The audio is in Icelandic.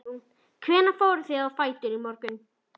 Guðrún: Hvenær fóruð þið á fætur í morgun?